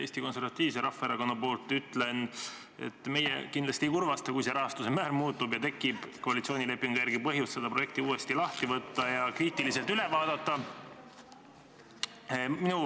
Eesti Konservatiivse Rahvaerakonna poolt ütlen, et meie kindlasti ei kurvasta, kui rahastuse määr muutub ning tekib koalitsioonilepingu järgi põhjus see projekt uuesti lahti võtta ja kriitiliselt üle vaadata.